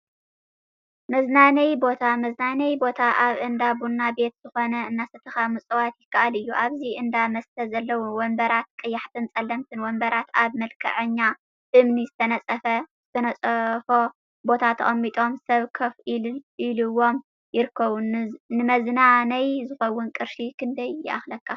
መዝናነይ ቦታ መዝናነይ ቦታ አብ እንዳ ቡና ቤት ዝኮነ እናሰተካ ምፅዋት ይከአል እዩ፡፡ አብዚ እንዳ መስተ ዘለው ወንበራት ቀያሕትን ፀለምትን ወንበራት አብ መልክዐኛ እምኒ ዝተነፀፎ ቦታ ተቀሚጦም ሰብ ኮፍ ኢሉዎም ይርከቡ፡፡ ንመዝናነይ ዝኸውን ቅርሺ ክንደይ ይአክለካ?